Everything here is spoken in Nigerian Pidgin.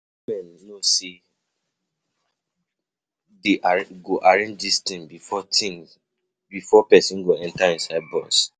Government no know say dey go arrange dis thing before thing before person go enter inside bus.